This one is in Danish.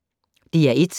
DR1